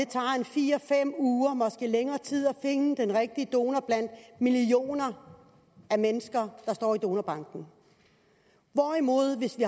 tager fire fem uger eller måske længere tid at finde den rigtige donor blandt millioner af mennesker der står i donorbanken